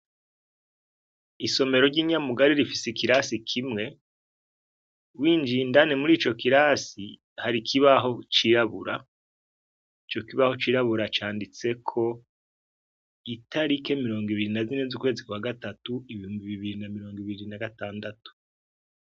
Isomero ry'inyamugari rifise ikirasi kimwe, winjiye indani mur'ico kirasi hari ikibaho cirabura. Ico kibaho cirabura canditseko itarike mirongo ibiri na zine z'ukwezi kwa gatatu ,ibihumbi mirongo ibiri na gatandatu.